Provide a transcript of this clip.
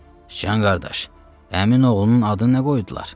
Sıcan qardaş, əminin oğlunun adı nə qoydular?